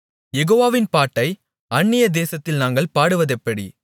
யெகோவாவின் பாட்டை அந்நிய தேசத்தில் நாங்கள் பாடுவதெப்படி